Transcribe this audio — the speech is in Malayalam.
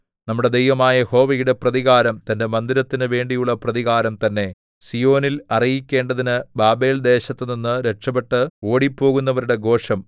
നമ്മുടെ ദൈവമായ യഹോവയുടെ പ്രതികാരം തന്റെ മന്ദിരത്തിനു വേണ്ടിയുള്ള പ്രതികാരം തന്നെ സീയോനിൽ അറിയിക്കേണ്ടതിന് ബാബേൽദേശത്തുനിന്നു രക്ഷപ്പെട്ട് ഓടിപ്പോകുന്നവരുടെ ഘോഷം